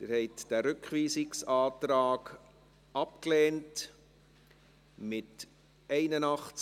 Sie haben den Rückweisungsantrag abgelehnt, mit 81 Nein- gegen 64 Ja-Stimmen bei 0 Enthaltungen.